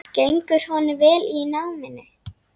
Gengur honum vel í náminu?